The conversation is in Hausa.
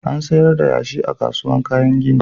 Ana sayar da yashi a kasuwar kayan gini.